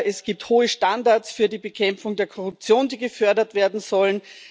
es gibt hohe Standards für die Bekämpfung der Korruption, die gefördert werden sollen